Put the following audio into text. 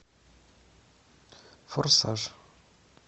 форсаж